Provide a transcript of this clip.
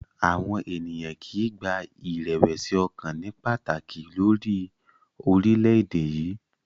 Àwọn ènìyàn kì í gba ìrẹ̀wẹ̀sì ọkàn ní pàtàkì lórí orílẹ̀-èdè yìí.